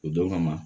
O don kama